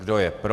Kdo je pro?